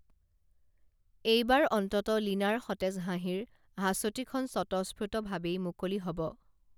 এইবাৰ অন্তত লীনাৰ সতেজ হাঁহিৰ হাঁচতিখন স্বতঃস্ফুত ভাৱেই মুকলি হব